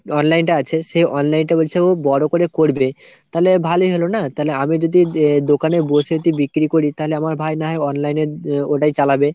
online টা আছে সে online টা বলছে ও বড়ো করে করবে। তালে ভালোই হলো না তালে আমি যদি দোকানে বসে যদি বিক্রি করি তালে আমার ভাই না হয় online এর ওটাই চালাবে।